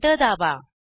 enter दाबा